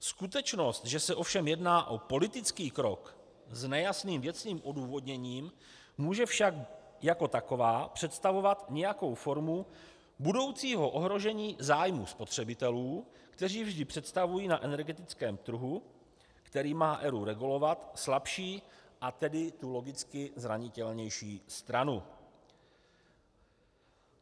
Skutečnost, že se ovšem jedná o politický krok s nejasným věcným odůvodněním, může však jako taková představovat nějakou formu budoucího ohrožení zájmu spotřebitelů, kteří vždy představují na energetickém trhu, který má ERÚ regulovat, slabší, a tedy tu logicky zranitelnější stranu.